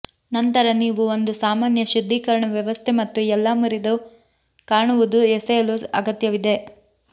ನಂತರ ನೀವು ಒಂದು ಸಾಮಾನ್ಯ ಶುದ್ಧೀಕರಣ ವ್ಯವಸ್ಥೆ ಮತ್ತು ಎಲ್ಲಾ ಮುರಿದ ಕಾಣುವುದು ಎಸೆಯಲು ಅಗತ್ಯವಿದೆ